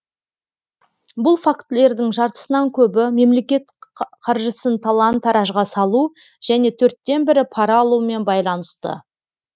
бұл фактілердің жартысынан көбі мемлекет қаржысын талан таражға салу және төрттен бірі пара алумен байланысты